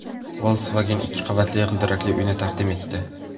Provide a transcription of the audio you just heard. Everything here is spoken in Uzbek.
Volkswagen ikki qavatli g‘ildirakli uyni taqdim etdi .